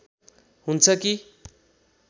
हुन्छ कि